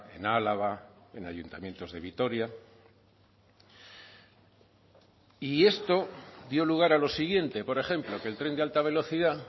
en álava en ayuntamientos de vitoria y esto dio lugar a lo siguiente por ejemplo que el tren de alta velocidad